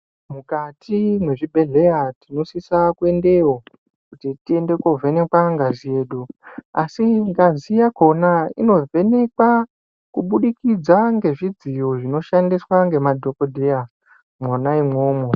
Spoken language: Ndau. Mukati mwezvibhedhedhleya tinosisa kuendeo kuti tiende kovhenekwa ngazi yedu asi ngazi yakona inovhenekwa kuburikidza ngezvidziyo zvinoshandiswa nemadhokodheya mwona imomo.